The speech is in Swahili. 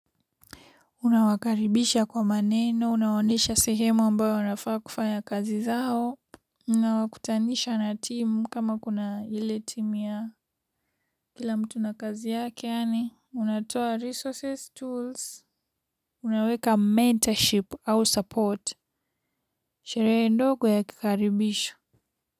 Unawakaribisha kwa maneno unawaonyesha sehemu ambayo wanafaa kufanya kazi zao. Unawakutanisha na team kama kuna ile team ya kila mtu na kazi yake yani unatoa resources tools. Unaweka mentorship au support sherehe ndogo ya kukaribisha.